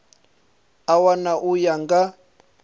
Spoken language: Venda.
a wana u ya nga